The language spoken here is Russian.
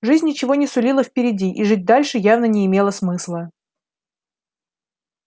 жизнь ничего не сулила впереди и жить дальше явно не имело смысла